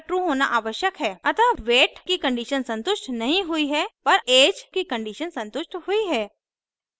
अतः weight की condition संतुष्ट नहीं हुई है पर ऐज की condition संतुष्ट हुई है